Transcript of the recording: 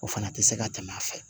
O fana tɛ se ka tɛmɛ a fɛ